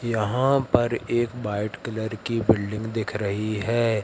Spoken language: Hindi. यहां पर एक वाइट कलर की बिल्डिंग दिख रही है।